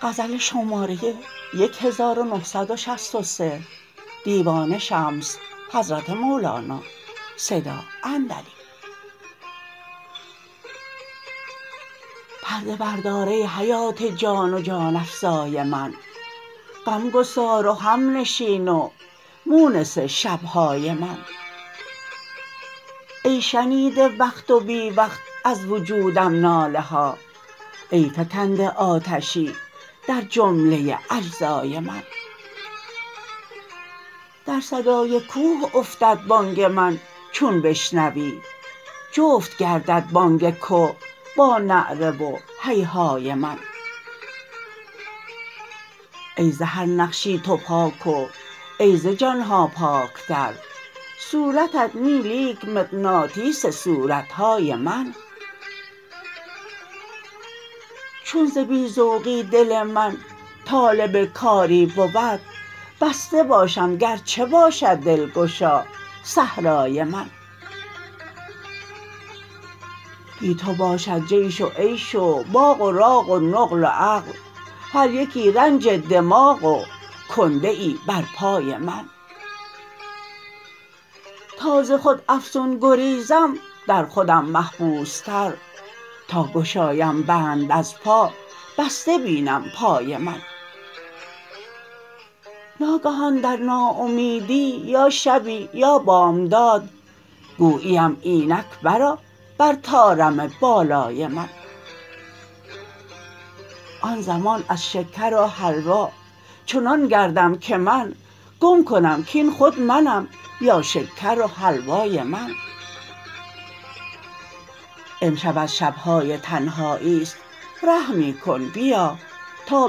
پرده بردار ای حیات جان و جان افزای من غمگسار و همنشین و مونس شب های من ای شنیده وقت و بی وقت از وجودم ناله ها ای فکنده آتشی در جمله اجزای من در صدای کوه افتد بانگ من چون بشنوی جفت گردد بانگ که با نعره و هیهای من ای ز هر نقشی تو پاک و ای ز جان ها پاک تر صورتت نی لیک مغناطیس صورت های من چون ز بی ذوقی دل من طالب کاری بود بسته باشم گرچه باشد دلگشا صحرای من بی تو باشد جیش و عیش و باغ و راغ و نقل و عقل هر یکی رنج دماغ و کنده ای بر پای من تا ز خود افزون گریزم در خودم محبوس تر تا گشایم بند از پا بسته بینم پای من ناگهان در ناامیدی یا شبی یا بامداد گویی ام اینک برآ بر طارم بالای من آن زمان از شکر و حلوا چنان گردم که من گم کنم کاین خود منم یا شکر و حلوای من امشب از شب های تنهایی است رحمی کن بیا تا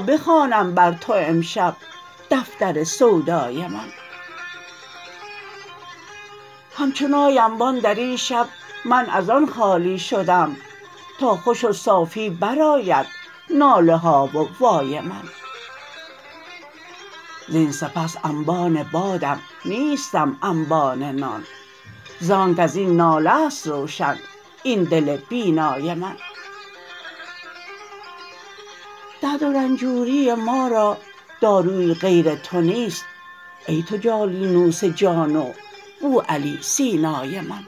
بخوانم بر تو امشب دفتر سودای من همچو نای انبان در این شب من از آن خالی شدم تا خوش و صافی برآید ناله ها و وای من زین سپس انبان بادم نیستم انبان نان زان کازاین ناله است روشن این دل بینای من درد و رنجوری ما را داروی غیر تو نیست ای تو جالینوس جان و بوعلی سینای من